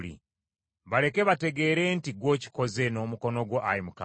Baleke bategeere nti ggwe okikoze, n’omukono gwo Ayi Mukama .